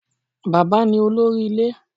Bàbá ní olórí ilé